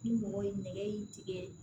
Ni mɔgɔ ye nɛgɛ in tigɛ